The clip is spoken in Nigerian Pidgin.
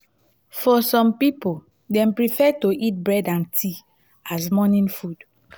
for some pipo dem prefer to eat bread and tea as morning food